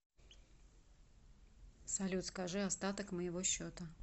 салют скажи остаток моего счета